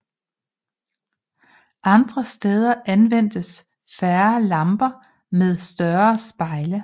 Andre steder anvendtes færre lamper med større spejle